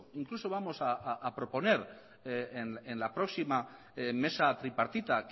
incluso vamos a proponer en la próxima mesa tripartita